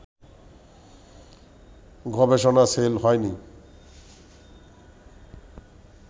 গবেষনা সেল হয়নি